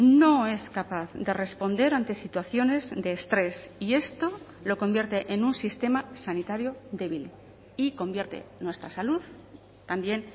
no es capaz de responder ante situaciones de estrés y esto lo convierte en un sistema sanitario débil y convierte nuestra salud también